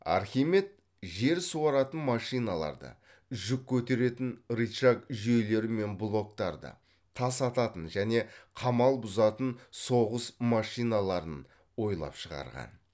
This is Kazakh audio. архимед жер суаратын машиналарды жүк көтеретін рычаг жүйелері мен блоктарды тас ататын және қамал бұзатын соғыс машиналарын ойлап шығарған